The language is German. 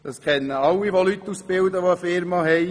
Das kenne alle, die das in einer Firma machen.